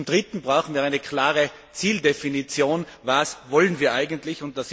Zum Dritten brauchen wir eine klare Zieldefinition Was wollen wir eigentlich?